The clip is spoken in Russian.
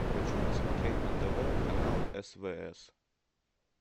хочу посмотреть на тв канал свс